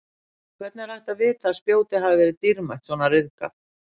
Og hvernig er hægt að vita að spjótið hafi verið dýrmætt svona ryðgað?